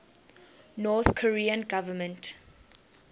north korean government